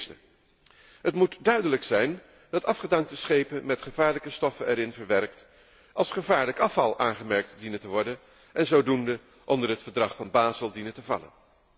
Ten eerste moet het duidelijk zijn dat afgedankte schepen waarin gevaarlijke stoffen zijn verwerkt als gevaarlijk afval aangemerkt dienen te worden en zodoende onder het Verdrag van Bazel dienen te vallen.